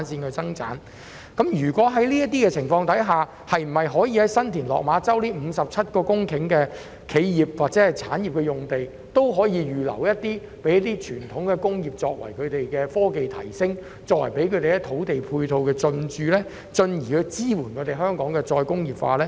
在此情況下，新田/落馬洲的57公頃企業及科技用地可否預留部分讓傳統工業進駐，為其科技提升提供土地配套，從而支援香港的再工業化？